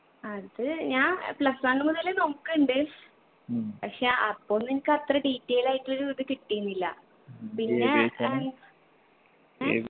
അത് ഞാൻ plus one മുതലെ നോക്ക്ണ്ട് പക്ഷെ അപ്പൊ ഒന്നും എൻക്ക് അത്ര detail ആയിട്ടൊരു ഇത് കിട്ടീനില്ല പിന്നെ ഏർ എഹ്